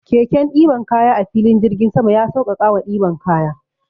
Keken ɗiban kaya a filin jirgin sama ya sauƙaƙawa ɗiban kaya.